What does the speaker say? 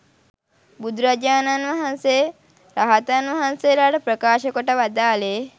බුදුරජාණන් වහන්සේ රහතන් වහන්සේලාට ප්‍රකාශ කොට වදාළේ